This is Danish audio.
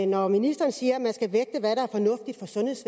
når ministeren siger